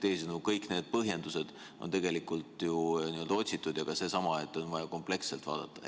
Teisisõnu, kõik need põhjendused on tegelikult ju otsitud ja ka seesama, et on vaja kompleksselt vaadata.